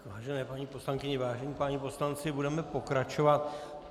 Vážené paní poslankyně, vážení páni poslanci, budeme pokračovat.